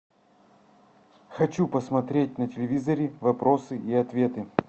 хочу посмотреть на телевизоре вопросы и ответы